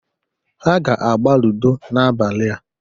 Ha ga-agba ludo n'abalịa